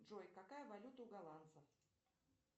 джой какая валюта у голландцев